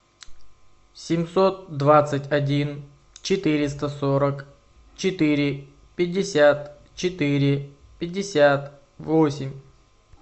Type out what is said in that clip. семьсот двадцать один четыреста сорок четыре пятьдесят четыре пятьдесят восемь